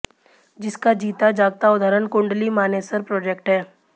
जिसका जीता जागता उदाहरण कुंडली मानेसर प्रोजैक्ट है